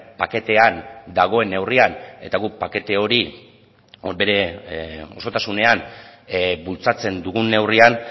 paketean dagoen neurrian eta guk pakete hori bere osotasunean bultzatzen dugun neurrian